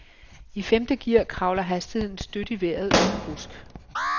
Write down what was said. I femte gear kravler hastigheden støt i vejret uden rusk.